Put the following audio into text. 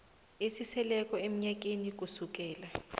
esiseleko emnyakeni kusukela